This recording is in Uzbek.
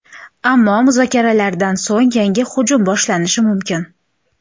Ammo muzokaralardan so‘ng yangi hujum boshlanishi mumkin.